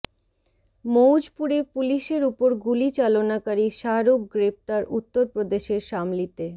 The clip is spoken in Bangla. মৌজপুরে পুলিশের উপর গুলি চালনাকারী শাহরুখ গ্রেপ্তার উত্তর প্রদেশের শামলীতে